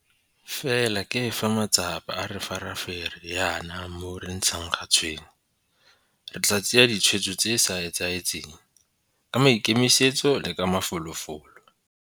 Fela ke fa matsapa a re farafere jaana moo re ntshang ga tshwene. Re tla tsaya ditshwetso tse di sa etsaetsegeng, ka maikemisetso le ka mafolofolo.